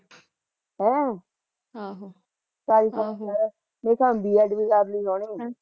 ਹੈਂ ਆਹ ਚੱਲ ਫਿਰ ਮੇਰੇ ਹਿਸਾਬ ਨਾਲ਼ B. Ed ਕਰਲੀ ਹੁਣਈ